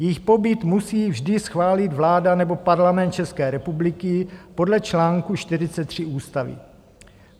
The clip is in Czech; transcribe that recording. Jejich pobyt musí vždy schválit vláda nebo Parlament České republiky podle článku 43 ústavy.